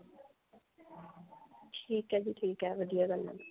ਠੀਕ ਹੈ ਜੀ ਠੀਕ ਹੈ ਵਧੀਆ ਗੱਲ ਹੈ